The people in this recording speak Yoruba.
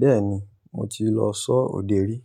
Bẹ́ẹ̀ni, mo ti lọ sọ òde rí